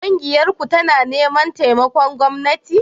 Ƙungiyarku tana neman taimakon gwamnati?